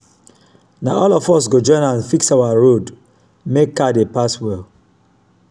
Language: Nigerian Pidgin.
na all of us go join hand fix our road make car dey pass well.